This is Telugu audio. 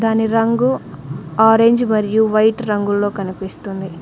దాని రంగు ఆరెంజ్ మరియు వైట్ రంగుల్లో కనిపిస్తుంది.